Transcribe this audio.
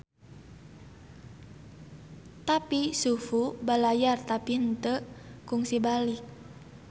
Tapi Xu Fu balayar tapi henteu kungsi balik.